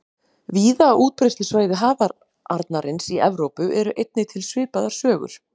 Víða á útbreiðslusvæði hafarnarins í Evrópu eru einnig til svipaðar sögur.